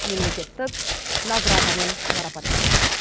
мемлекеттік наградамен марапаттады